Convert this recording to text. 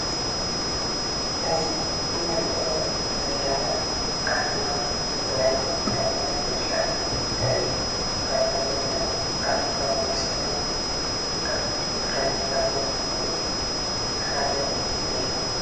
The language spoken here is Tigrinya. እዚ እንሪኦ ዘለና ኣርማ ናይ ራያ ቢራ እዩ፡፡ ራያ ቢራ ኣልኮላዊ መስተ ኣብ ምፍራይ ካብ ዝርከቡ ሓደ እዩ፡፡